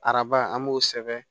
Araba an b'o sɛbɛn